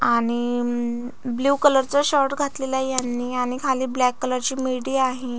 आणि म blue colour चा शर्ट घातलेलाए यांनी आणि खाली ब्लॅक कलर ची मिडी आहे.